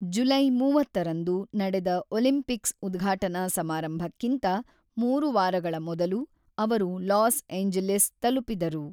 July ಮೂವತ್ತರಂದು ನಡೆದ ಒಲಿಂಪಿಕ್ಸ್‌ನ ಉದ್ಘಾಟನಾ ಸಮಾರಂಭಕ್ಕಿಂತ ಮೂರು ವಾರಗಳ ಮೊದಲು ಅವರು ಲಾಸ್ ಏಂಜಲೀಸ್ ತಲುಪಿದರು.